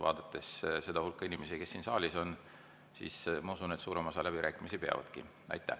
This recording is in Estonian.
Vaadates seda hulka inimesi, kes siin saalis on, ma usun, et suurem osa peavadki läbirääkimisi.